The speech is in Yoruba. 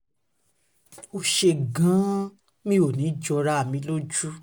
ó ṣeé gan-an mi ò ní í jọra mi lójú o